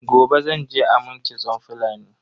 Gobe zan je a mun kitson Fulani.